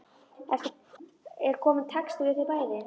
Er kominn texti við þau bæði?